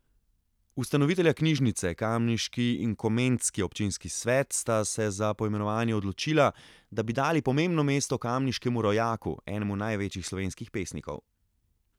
Ustanovitelja knjižnice, kamniški in komendski občinski svet, sta se za poimenovanje odločila, da bi dali pomembno mesto kamniškemu rojaku, enemu največjih slovenskih pesnikov.